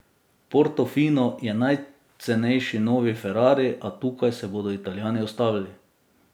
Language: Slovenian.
Portofino je najcenejši novi ferrari, a tukaj se bodo Italijani ustavili.